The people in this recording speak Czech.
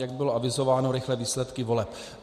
Jak bylo avizováno, rychlé výsledky voleb.